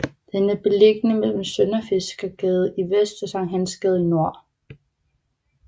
Den er beliggende mellem Sønderfiskergade i vest og Sankt Hans Gade i nord